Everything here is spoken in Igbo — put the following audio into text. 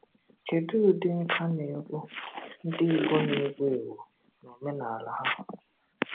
Kedu ụdị nka na egwu ndị Igbo na-ewu ewu n’omenala ha?